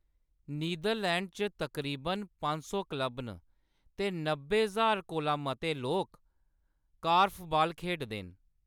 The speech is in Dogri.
नीदरलैंड च तकरीबन पंज सौ क्लब न ते नब्बे ज्हार कोला मते लोक कार्फ़बाल खेढदे न।